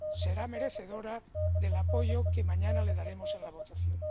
será merecedora del apoyo que mañana le daremos en la votación.